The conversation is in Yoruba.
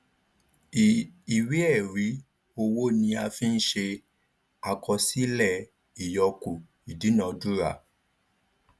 iii ìwé ẹrí owó ni a fí ń ṣe àkọsílẹ ìyọkù ìdúnadúrà